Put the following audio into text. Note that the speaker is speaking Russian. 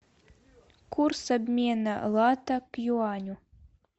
курс обмена лата к юаню